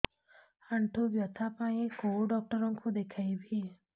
ଆଣ୍ଠୁ ବ୍ୟଥା ପାଇଁ କୋଉ ଡକ୍ଟର ଙ୍କୁ ଦେଖେଇବି